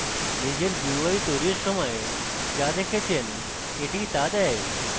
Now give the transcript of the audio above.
নিজের gui তৈরীর সময় যা দেখেছেন এটি তা দেয়